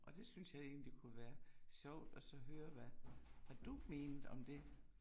Og det synes jeg egentlig kunne være sjovt og så høre, hvad du mente om det